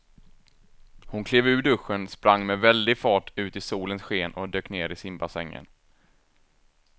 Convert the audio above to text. Hon klev ur duschen, sprang med väldig fart ut i solens sken och dök ner i simbassängen.